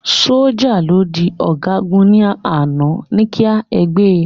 sójà to di ọgagun ni àná, ní ki ẹ gbé